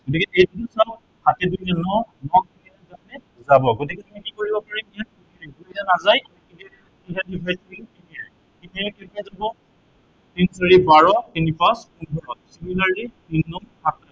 সাতে দুইয়ে ন, ন তিনিয়ে যায় নে যাব। গতিকে আমি কি কৰিব পাৰিম ইয়াত, যি কেইটা নাযায় সেইকেইটা divide কৰিম কিহেৰে, তিনিৰে। তিনিৰে কেইবাৰ যাব, তিন চাৰি বাৰ, তিনি পাঁছ পোন্ধৰ similarly তিন নং সাতাইশ